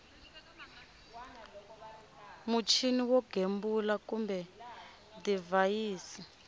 muchini wo gembula kumbe divhayisi